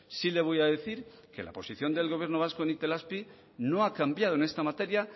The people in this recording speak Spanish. sí le voy a decir que la posición del gobierno vasco en itelazpi no ha cambiado en esta materia